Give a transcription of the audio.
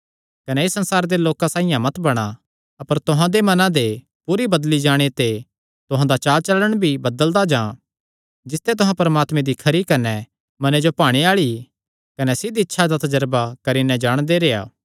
कने इस संसारे दे लोकां साइआं मत बणा अपर तुहां दे मनां दे पूरे बदली जाणे ते तुहां दा चालचलण भी बदलदा जां जिसते तुहां परमात्मे दी खरी कने मने जो भाणे आल़ी कने सिद्ध इच्छा दा तजरबा करी नैं जाणदे रेह्आ